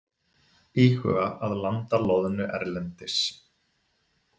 Íhuga að landa loðnu erlendis